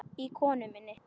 í konu minni.